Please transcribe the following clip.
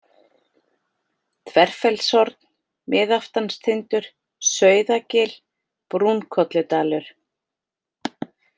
Þverfellshorn, Miðaftanstindur, Sauðagil, Brúnkolludalur